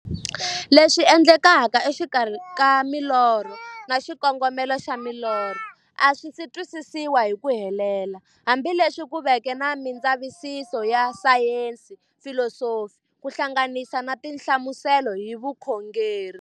Leswi endlekaka e xikarhi ka milorho na xikongomelo xa milorho a swisi twisisiwa hi ku helela, hambi leswi ku veke na mindzavisiso ya sayensi, filosofi ku hlanganisa na tinhlamuselo hi vukhongori.